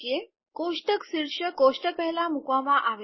કોષ્ટક શીર્ષક કોષ્ટક પહેલાં મૂકવામાં આવે છે